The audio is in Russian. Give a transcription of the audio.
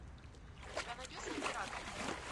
у тебя найдется император